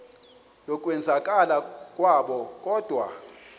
yokwenzakala kwabo kodwa